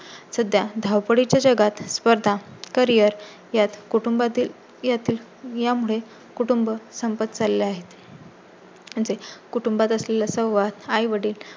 सध्या धावपळी च्या जगात स्पर्धा, करिअर यात कुटुंबातील येतील यामुळे कुटुंब संपत चालला आहे. ते कुटुंबात असलेल्या सहवास आई वडील